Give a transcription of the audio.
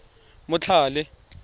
motlhale